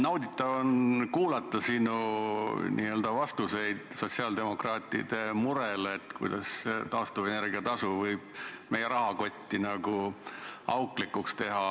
Nauditav on kuulata sinu vastuseid sotsiaaldemokraatide murelikule küsimusele, kuidas taastuvenergia tasu võib meie rahakoti auklikuks teha.